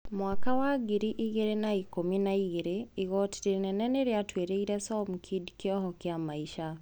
Mwaka wa ngiri igĩrĩ na ikũmi na igĩrĩ , igoti rinene niriatuiriire Somkid kioho kia maisha.